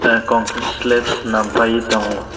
a concrete slabs chwnam fai tango.